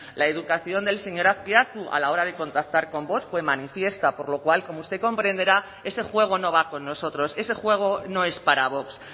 la educación del señor azpiazu a la hora de contactar con vox fue manifiesta por lo cual como usted comprenderá ese juego no va con nosotros ese juego no es para vox